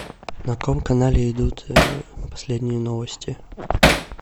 на каком канале идут последние новости